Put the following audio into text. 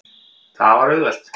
Það var auðvelt.